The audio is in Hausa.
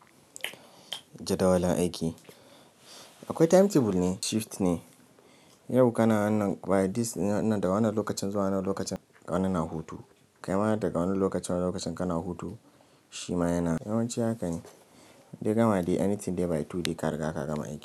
Jadawalin aiki, akwai timetable ne shift ne. Yau kana wannan by this wannan da wannan lokacin zuwa wannan lokacin wani na hutu. Kai ma daga wannan lokacin wannan lokacin kana hutu shi ma yana. Yawanci hakan yi dai gama dai anything dai by two dai ka riga ka gama aiki.